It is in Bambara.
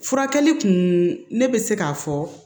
Furakɛli kun ne bɛ se k'a fɔ